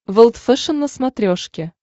волд фэшен на смотрешке